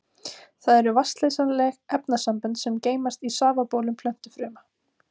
Þau eru vatnsleysanleg efnasambönd sem geymast í safabólum plöntufruma.